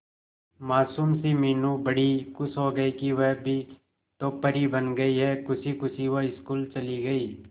मासूम सी मीनू बड़ी खुश हो गई कि वह भी तो परी बन गई है खुशी खुशी वो स्कूल चली गई